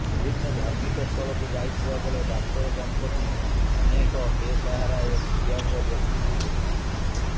ବିଭିନ୍ନ ଧାର୍ମିକ ସ୍ଥଳକୁ ଯାଇଥିବା ବେଳେ ଡାକ୍ତର ଦମ୍ପତି ଅନେକ ବେସାହାରା ଓ ଦିବ୍ୟାଙ୍ଗ ବ୍ୟକ୍ତିଙ୍କୁ ଭେଟିଥାନ୍ତି